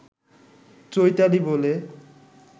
চৈতালি বলে